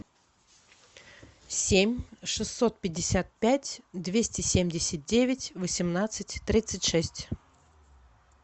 семь шестьсот пятьдесят пять двести семьдесят девять восемнадцать тридцать шесть